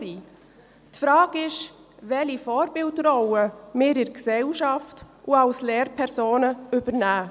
Die Frage ist, welche Vorbildrolle wir in der Gesellschaft und als Lehrpersonen übernehmen.